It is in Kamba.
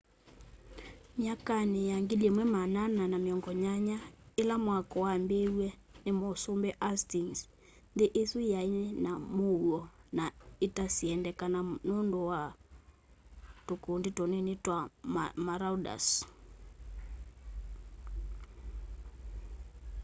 myakanĩ ya 1480 ĩla mwako wambĩĩĩwye nĩ mũsũmbĩ hastĩngs nthĩ ĩsũ yaĩna mũũo na ita syendekana nũndũ wa tũkũndĩ tũnĩnĩ twa maraũders